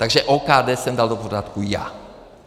Takže OKD jsem dal do pořádku já.